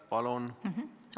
Palun!